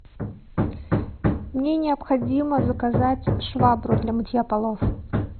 мне необходимо заказать швабру для мытья полов